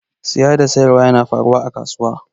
Siyi da siyarwa yana faruwa a kasuwa.